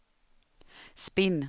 spinn